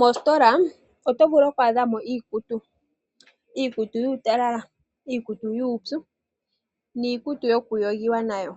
Mositola oto vulu oku adhamo iikutu, iikutu yuutalala, iikutu yuupyu niikutu yokuyogiwa nayo.